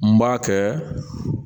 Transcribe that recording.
N b'a kɛ